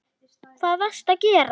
Hvað varstu að gera?